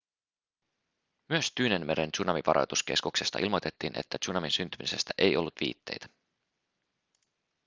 myös tyynenmeren tsunamivaroituskeskuksesta ilmoitettiin että tsunamin syntymisestä ei ollut viitteitä